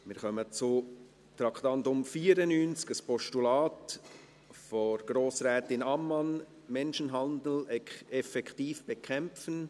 Wir kommen zum Traktandum 94, einem Postulat von Grossrätin Ammann: «Menschenhandel effektiv bekämpfen».